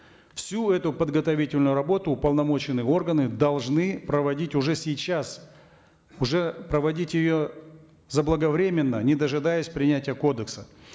всю эту подготовительную работу уполномоченные органы должны проводить уже сейчас уже проводить ее заблаговременно не дожидаясь принятия кодекса